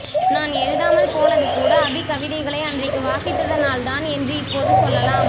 நான் எழுதாமல்போனதுகூட அபி கவிதைகளை அன்றைக்கு வாசித்ததனால்தான் என்று இப்போது சொல்லலாம்